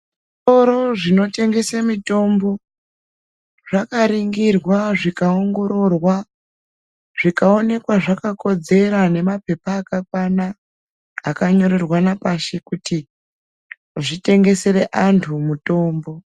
Zvitoro zvinotengeswa mitombo zvakaningirwa zvikaongororwa zvikaonekwa zvakakodzera nemapepa akakwana akanyorerwana pashi kuti zvitengesere antu mutombo.